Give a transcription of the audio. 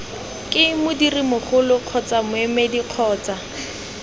ke modirimmogo kgotsa moemedi kgotsa